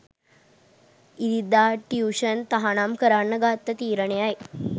ඉරිදා ටියුෂන් තහනම් කරන්න ගත්ත තීරණයයි.